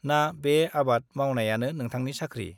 ना बे आबाद मावनायानो नोंथांनि साख्रि ?